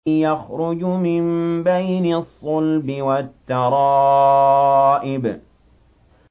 يَخْرُجُ مِن بَيْنِ الصُّلْبِ وَالتَّرَائِبِ